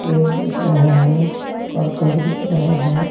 पेड़ दिख रहे हैं करकट दिख रहा है।